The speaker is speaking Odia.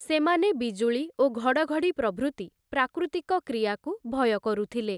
ସେମାନେ ବିଜୁଳି ଓ ଘଡ଼ଘଡ଼ି ପ୍ରଭୃତି ପ୍ରାକୃତିକ କ୍ରିୟାକୁ ଭୟ କରୁଥିଲେ ।